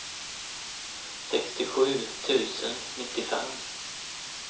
sextiosju tusen nittiofem